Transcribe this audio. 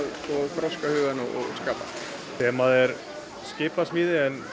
þroska hugann og skapa þemað er skipasmíði en